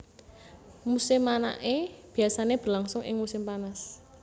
Musim manaké biasané berlangsung ing musim panas